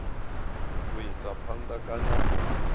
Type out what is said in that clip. u isa phanda kana u